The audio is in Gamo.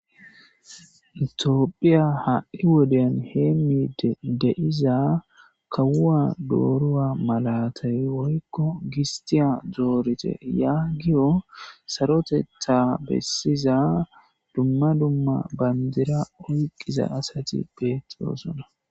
itiophphiya ha'i woden heemidi de'iza kawuwa dooruwa malatay woykko gisttiya doorite yaagiyo sarotetha bessiza dumma dumma bandira oyqiza asati betoosona